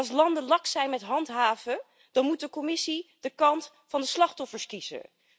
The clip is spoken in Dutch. En als landen laks zijn met handhaven, dan moet de Commissie de kant van de slachtoffers kiezen.